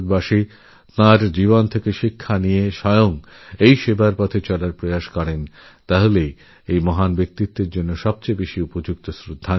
এই মহিয়সী ব্যক্তিত্বের প্রতি এটাই হবে আমাদের যথার্থশ্রদ্ধাঞ্জলি যদি প্রত্যেক ভারতবাসী তাঁর জীবন থেকে শিক্ষাগ্রহণ করি ও তাঁরপ্রদর্শিত সেবার পথ অনুসরণ করি